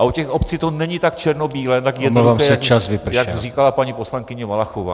A u těch obcí to není tak černobílé , tak jednoduché, jak říkala paní poslankyně Valachová.